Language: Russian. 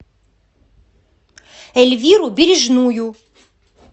эльвиру бережную